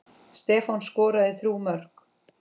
Stefán skoraði þrjú mörk.